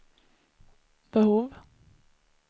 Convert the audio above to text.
behov